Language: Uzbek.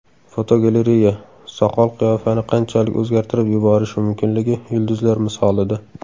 Fotogalereya: Soqol qiyofani qanchalik o‘zgartirib yuborishi mumkinligi yulduzlar misolida.